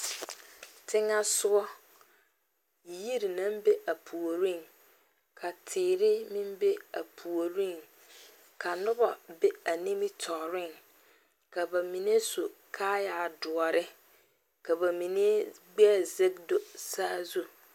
Teŋɛ sɔga yiri naŋ be a puoriŋ, ka teere meŋ be a puoriŋ ka noba be a nimitɔreŋ, ka ba mine su kaayɛ doɔre ka ba mine gbɛɛ zage do saazu